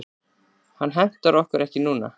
Hann hentar okkur ekki núna.